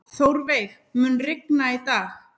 Þórveig, mun rigna í dag?